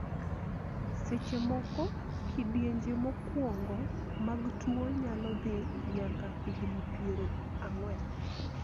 seche moko, kidienje mokwongo mag tuo nyalo dhi nyaka higni piero ang'wen